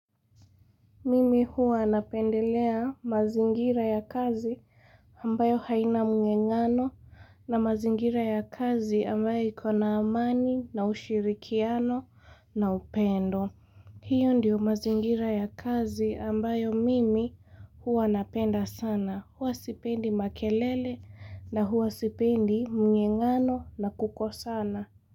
Mimi huwa napendelea mazingira ya kazi ambayo haina mweng'ano na mazingira ya kazi ambayo ikona amani na ushirikiano na upendo. Hiyo ndiyo mazingira ya kazi ambayo mimi huwa napenda sana. Huwa sipendi makelele na huwa sipendi mweng'ano na kukosana.